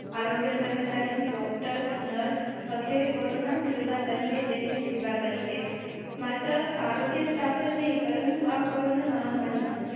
આરોગ્ય કર્મચારીને કોરોના યોદ્ધા બનીને દેશની સેવા કરી છે. માત્ર આરોગ્ય સ્ટાફ નહીં પરંતુ આ કોરોના મહામારી.